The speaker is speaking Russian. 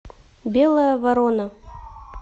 белая ворона